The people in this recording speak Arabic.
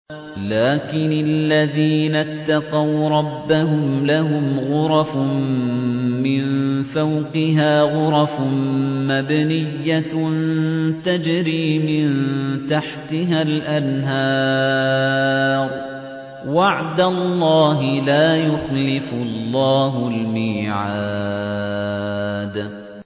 لَٰكِنِ الَّذِينَ اتَّقَوْا رَبَّهُمْ لَهُمْ غُرَفٌ مِّن فَوْقِهَا غُرَفٌ مَّبْنِيَّةٌ تَجْرِي مِن تَحْتِهَا الْأَنْهَارُ ۖ وَعْدَ اللَّهِ ۖ لَا يُخْلِفُ اللَّهُ الْمِيعَادَ